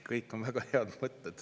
Kõik on väga head mõtted.